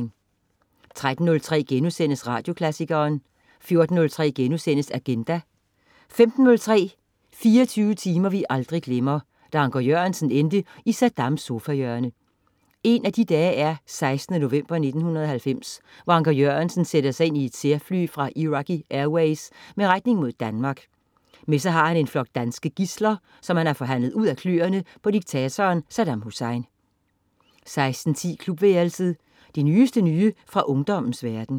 13.03 Radioklassikeren* 14.03 Agenda* 15.03 24 timer vi aldrig glemmer: Da Anker Jørgensen endte i Saddams sofahjørne. En af de dage er 16. november 1990, hvor Anker Jørgensen sætter sig ind i et særfly fra Iraqi Airways med retning mod Danmark. Med sig har han en flok danske gidsler, som han har forhandlet ud af kløerne på diktatoren Saddam Hussein 16.10 Klubværelset. Det nyeste nye fra ungdommens verden